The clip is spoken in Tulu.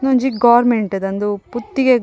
ಉಂದೊಂಜಿ ಗೋರ್ಮೆಂಟ್ ದ ಉಂದು ಪುತ್ತಿಗೆ --